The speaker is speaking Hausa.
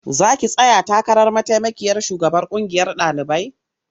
Za ki tsaya takarar mataimakiyar shugabar ƙungiyar ɗalibai?